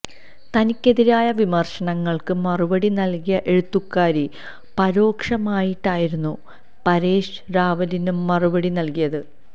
തനിക്കെതിരായ വിമര്ശനങ്ങള്ക്ക് മറുപടി നല്കിയ എഴുത്തുകാരി പരോക്ഷമായിട്ടായിരുന്നു പരേഷ് റാവലിന് മറുപടി നല്കിയത്